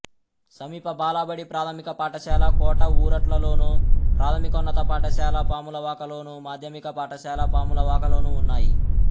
సమీప బాలబడి ప్రాథమిక పాఠశాల కోట ఊరట్లలోను ప్రాథమికోన్నత పాఠశాల పాములవాకలోను మాధ్యమిక పాఠశాల పాములవాకలోనూ ఉన్నాయి